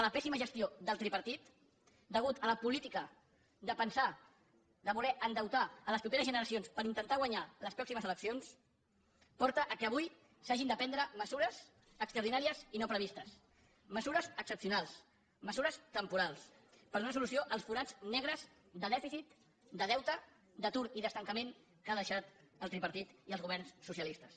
la pèssima gestió del tripartit la política de pensar de voler endeutar les properes generacions per intentar guanyar les pròximes eleccions porten al fet que avui s’hagin de prendre mesures extraordinàries i no previstes mesures excepcionals mesures temporals per donar solució als forats negres de dèficit de deute d’atur i d’estancament que han deixat el tripartit i els governs socialistes